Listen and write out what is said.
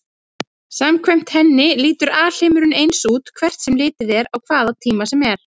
Samkvæmt henni lítur alheimurinn eins út hvert sem litið er á hvaða tíma sem er.